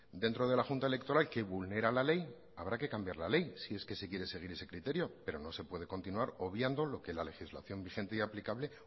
dentro de la junta electoral que vulnera la ley habrá que cambiar la ley si es que se quiere seguir ese criterio pero no se puede continuar obviando lo que la legislación vigente y aplicable